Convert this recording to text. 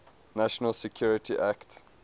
national security act